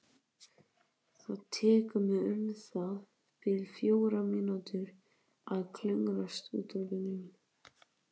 Það tekur mig um það bil fjórar mínútur að klöngrast út úr bílnum.